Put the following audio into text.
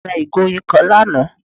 Ìyá à mí ra ìgò oyin kan lánàá